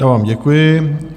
Já vám děkuji.